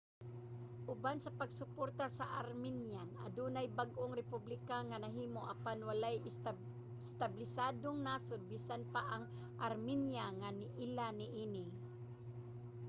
uban sa pagsuporta sa armenian adunay bag-ong republika nga nahimo. apan walay establisadong nasod - bisan pa ang armenia - nga niila niini